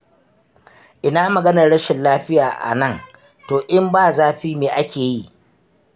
Ina maganar rashin lafiya a nan, to in ba zafi me ake yi?